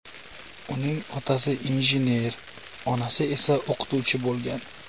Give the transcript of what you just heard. Uning otasi injener, onasi esa o‘qituvchi bo‘lgan.